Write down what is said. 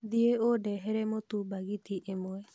Thiĩ ũndĩhere mũtũ bagiti ĩmwe